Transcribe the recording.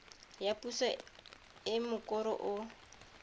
ya puso e mokoro o